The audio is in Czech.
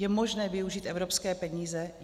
Je možné využít evropské peníze?